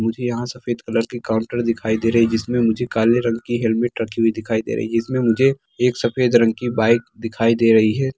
मुझे यहां सफेद कलर के काउन्टर दिखाई दे रहे है जिसमे मुझे काले रंग की हेलमेट रखी हुई दिखाई दे रहे है जिसमें मुझे एक सफेद रंग की बाइक दिखाई दे रही है।